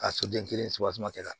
A soden kelen subaseman kɛla